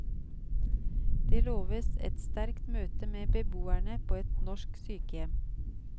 Det loves et sterkt møte med beboerne på et norsk sykehjem.